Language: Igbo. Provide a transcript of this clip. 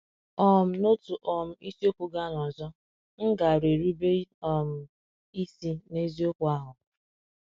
um N’otu um isi okwu gaa n’ọzọ, m gaara erube um isi n’eziokwu ahụ.